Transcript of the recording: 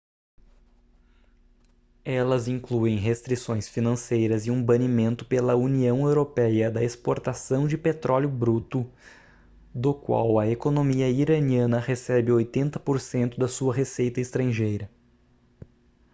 elas incluem restrições financeiras e um banimento pela união europeia da exportação de petróleo bruto do qual a economia iraniana recebe 80% da sua receita estrangeira